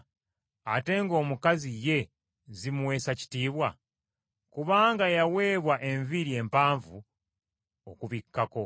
ate ng’omukazi ye zimuweesa kitiibwa? Kubanga yaweebwa enviiri empanvu okumubikkako.